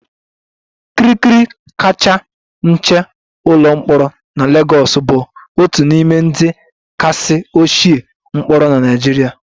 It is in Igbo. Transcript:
Kirikiri kacha nche ụlọ mkpọrọ na Lagos bụ otu n'ime ndị kasị ochie mkpọrọ na Nigeria